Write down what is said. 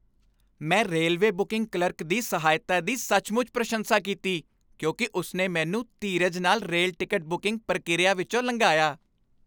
ਮੈਂ railway booking clerk ਦੀ ਸਹਾਇਤਾ ਦੀ ਸੱਚਮੁੱਚ ਪ੍ਰਸ਼ੰਸਾ ਕੀਤੀ ਕਿਉਂਕਿ ਉਸ ਨੇ ਮੈਨੂੰ ਧੀਰਜ ਨਾਲ ਰੇਲ ਟਿਕਟ ਬੁਕਿੰਗ ਪ੍ਰਕਿਰਿਆ ਵਿਚੋਂ ਲਘਾਇਆ।